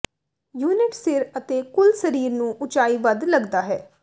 unit ਸਿਰ ਅਤੇ ਕੁੱਲ ਸਰੀਰ ਨੂੰ ਉਚਾਈ ਵੱਧ ਲੱਗਦਾ ਹੈ